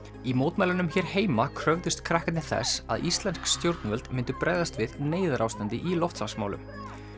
í mótmælunum hér heima kröfðust krakkarnir þess að íslensk stjórnvöld myndu bregðast við neyðarástandi í loftslagsmálum